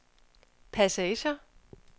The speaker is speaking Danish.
passager